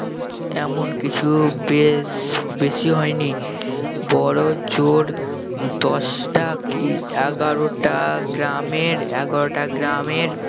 এমন কিছু বেশ~ বেশি হয় নি বড়জোর দশটা কি এগারোটা গ্রামের এগারোটা গ্রামের